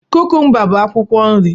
Kukumba bụ akwụkwọ nri.